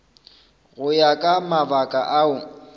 go ya ka mabaka ao